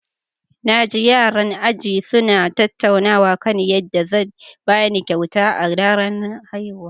Na ji yaran ajina suna tattaunawa kan yadda zan ba ni kyauta a ranar haihuwata.